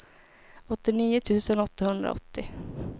åttionio tusen åttahundraåttio